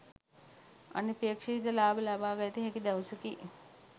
අනපේක්ෂිත ලාභ ලබාගත හැකි දවසකි.